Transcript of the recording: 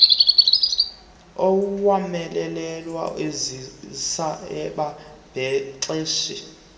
owomeleleyo ozisa ababhexeshi